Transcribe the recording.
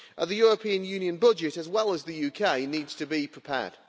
The European Union budget, as well as the UK, needs to be prepared.